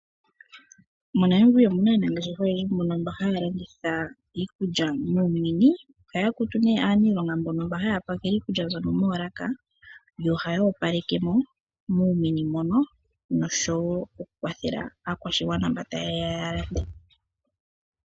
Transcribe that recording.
MoNamibia omuna aanangeshefa oyendji mboka haya landitha iikulya muumini, oyakutu ne aanilonga mboka haya pakele iikulya mbyoka moolaka yo ohaya opaleke mo muumini mono nosho wo okukwathela aakwashigwana mba tayeya yalande.